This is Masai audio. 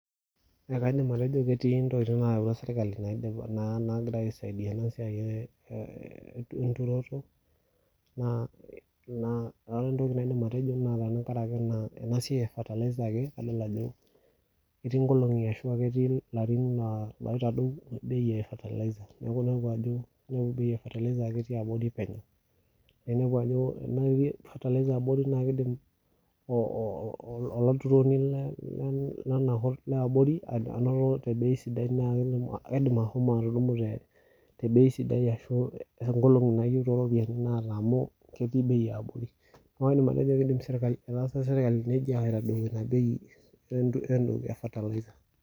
Ekaidim atejo ketii intokiting nayawua serkali naidip naa naagira aisaidia ena siai ee enturoto naa ee ore entoki naidim atejo naa tenkaraki ena siai eefatalaiza ake adol ajo ketii ikolong'i ashu a ketii ilarrin loitadou cs[bei]cs efatalaiza neeku inepu ajo ore bei efatalaiza naa ketii abori penyo nainepu ajo ore etii cs[fertilizer]cs abori n kiidim olaturroni liabori anoto tebei sidai naa ketum kiidim ashomo atudumu tebei idai ashu tenkolong' nayeu tooropiani naata amuu ketii bei eabori neeku iidim atejo keetasa serkali nejia aitaduo ina bei entoki efatalaiza.